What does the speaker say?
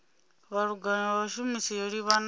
vhulanguli ha vhashumi yo livhanaho